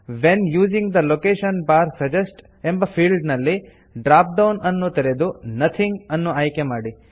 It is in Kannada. when using the location bar suggest ಎಂಬ ಫೀಲ್ಡ್ನಲ್ಲಿ ಡ್ರಾಪ್ ಡೌನ್ ಅನ್ನು ತೆರೆದು ನೋಥಿಂಗ್ ಅನ್ನು ಆಯ್ಕೆ ಮಾಡಿ